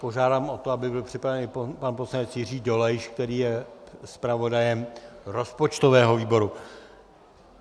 Požádám o to, aby byl připraven pan poslanec Jiří Dolejš, který je zpravodajem rozpočtového výboru.